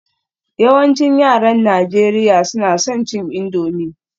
Yawancin yaran Najeriya suna son cin indomie